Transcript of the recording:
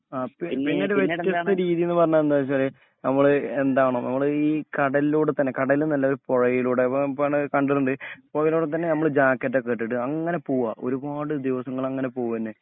ആ പിന്നൊരു വെത്യസ്ഥ രീതിയെന്നുപറഞ്ഞാ എന്താച്ചാല് നമ്മള് എന്താണോ നമ്മള് ഈ കടലൂടെത്തന്നെ കടലന്നല്ല പൊഴയിലൂടെ ആ പോണേ കണ്ടിട്ടുണ്ട് പൊഴയിലൂടെ തന്നെ നമ്മള് ജാക്കറ്റൊക്കെയിട്ടിട്ടു അങ്ങനെപോവ ഒരുപാട് ദിവസങ്ങളിങ്ങനെ പോവന്നെ.